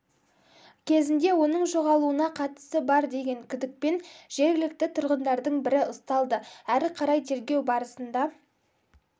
кезінде оның жоғалуына қатысы бар деген күдікпен жергілікті тұрғындардың бірі ұсталды әрі қарай тергеу барысында